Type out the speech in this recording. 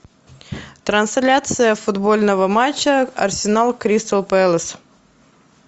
трансляция футбольного матча арсенал кристал пэлас